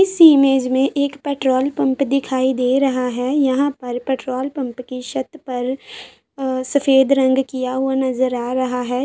इस इमेज में एक पेट्रोल पंप दिखाई दे रहा है। यहाँ पर पेट्रोल पंप की शत पर अ शफेद रंग किया नज़र आ रहा है।